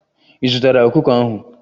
Ị zụtara ọkụkọ ahụ?